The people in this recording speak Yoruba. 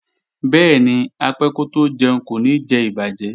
Bẹ́ẹ̀ni, apẹ́ kótó jẹun kò ní jẹ ìbàjẹ́